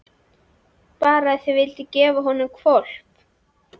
Bara að þau vildu gefa honum hvolp.